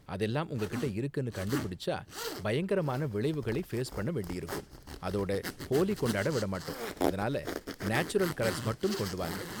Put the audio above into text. அதெல்லாம் உங்ககிட்ட இருக்குனு கண்டுபிடிச்சா, பயங்கரமான விளைவுகளை ஃபேஸ் பண்ண வேண்டியிருக்கும் அதோட ஹோலி கொண்டாட விட மாட்டோம், அதனால நேச்சுரல் கலர்ஸ் மட்டும் கொண்டு வாங்க!